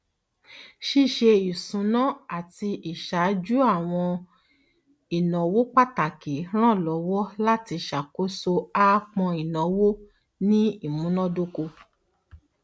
ṣíṣe isúnà àti ìṣàjú àwọn ìnáwó pàtàkì ràn lọwọ láti ṣàkóso àápọn ìnáwó ní ìmúnádókò